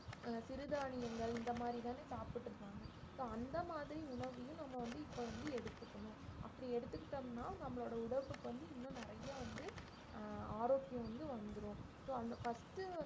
அஹ் சிறுதானியங்கள் இந்த மாதிரி தானே சாப்பிட்டு இருந்தாங்க so அந்த மாதிரி உணவையும் நம்ம வந்து இப்ப வந்து எடுத்துக்கணும் அப்படி எடுத்துக்கிட்டோம்னா நம்மளோட உடம்புக்கு வந்து இன்னும் நிறைய வந்து அஹ் ஆரோக்கியம் வந்து வந்திரும் so அந்த first உ